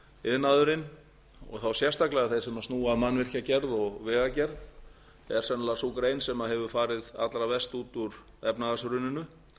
fletta að verktakaiðnaðurinn og þá sérstaklega sem snúa að mannvirkjagerð og vegagerð er sennilega sú grein sem hefur farið allra verst út úr efnahagshruninu